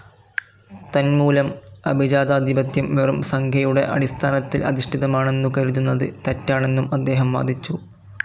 തന്മൂലം അഭിജാതാധിപത്യം വെറും സംഖ്യയുടെ അടിസ്ഥാനത്തിൽ അധിഷ്ഠിതമാണെന്നു കരുതുന്നത് തെറ്റാണെന്നും അദ്ദേഹം വാദിച്ചു.